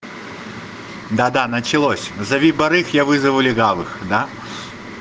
да да началось зови барыг я вызову легавых да